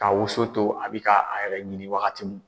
Ka woson to a bɛ ka a yɛrɛ ɲini wagati min.